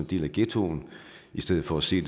del af ghettoen i stedet for se